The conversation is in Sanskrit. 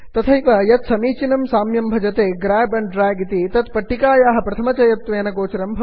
तथैव यत् समीचनं साम्यं भवति ग्राब एण्ड द्रग् इति तत् पट्टिकायाः प्रथमचयनत्वेन गोचरं भवन्ति